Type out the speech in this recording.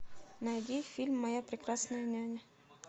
найди фильм моя прекрасная няня